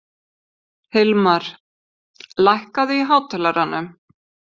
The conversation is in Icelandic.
Hilmar, lækkaðu í hátalaranum.